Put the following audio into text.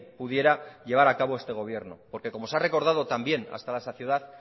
pudiera llevar a cabo este gobierno porque como se ha recordado también hasta la saciedad